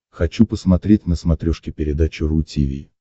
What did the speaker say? хочу посмотреть на смотрешке передачу ру ти ви